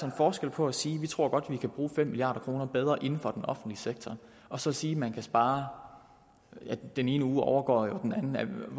en forskel på at sige at vi godt tror at vi kan bruge fem milliard kroner bedre inden for den offentlige sektor og så sige at man kan spare den ene uge overgår jo den anden